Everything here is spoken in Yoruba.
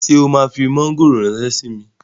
Ṣé o máa fi mọ́ngòrò ránṣẹ́ síi?